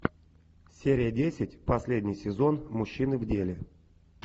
серия десять последний сезон мужчины в деле